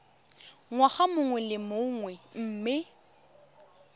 ngwaga mongwe le mongwe mme